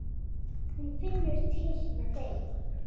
Hún finnur til með þeim.